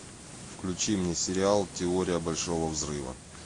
включи мне сериал теория большого взрыва